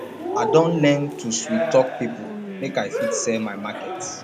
i don learn to sweettalk pipo make i fit sell my market